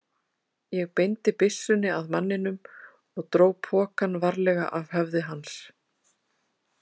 Ég beindi byssunni að manninum og dró pokann varlega af höfði hans.